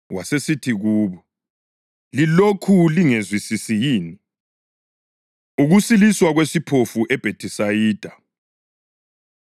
Wasesithi kubo, “Lilokhu lingezwisisi yini?” Ukusiliswa Kwesiphofu EBhethisayida